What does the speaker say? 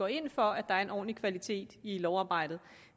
ind for at der er en ordentlig kvalitet i lovarbejdet